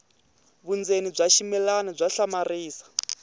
vundzeni bya ximilana bya hlamarisa